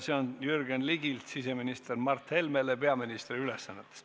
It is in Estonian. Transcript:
See on Jürgen Ligilt siseminister Mart Helmele peaministri ülesannetes.